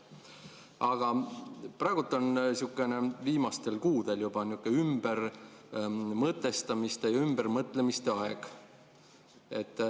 Aga praegu, viimastel kuudel juba, on nihukene ümbermõtestamiste ja ümbermõtlemiste aeg.